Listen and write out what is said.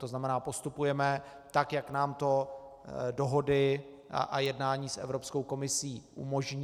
To znamená, postupujeme tak, jak nám to dohody a jednání s Evropskou komisí umožní.